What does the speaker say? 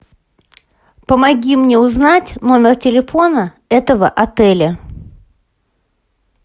помоги мне узнать номер телефона этого отеля